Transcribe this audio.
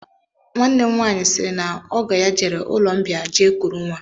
Nwanne m nwaanyị sịrị na ogo ya jere ụlọmbịa jee kuru nwa